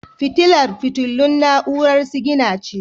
Fitilar fitilun na'urar sigina ce.